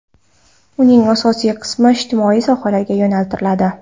Uning asosiy qismi ijtimoiy sohalarga yo‘naltiriladi.